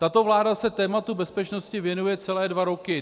Tato vláda se tématu bezpečnosti věnuje celé dva roky.